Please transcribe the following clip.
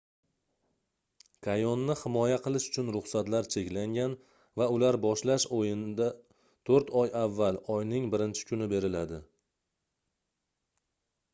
kayonni himoya qilish uchun ruxsatlar cheklangan va ular boshlash oyinda toʻrt oy avval oyning 1-kuni beriladi